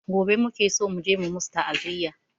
Gobe muke so muje mu musu ta'aziya